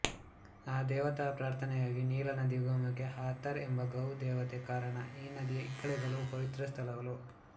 ಆ ದೇವತಾ ಪ್ರಾರ್ಥನೆಗಾಗಿ ನೀಲನದಿ ಉಗಮಕ್ಕೆ ಹಾಥಾರ್ ಎಂಬ ಗೌ ದೇವತೆ ಕಾರಣ ಈ ನದಿಯ ಇಕ್ಕೆಲಗಳೂ ಪವಿತ್ರ ಸ್ಥಳಗಳು